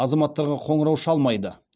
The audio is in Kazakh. азаматтарға қоңырау шалмайды